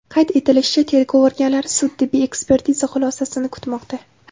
Qayd etilishicha, tergov organlari sud-tibbiy ekspertiza xulosasini kutmoqda.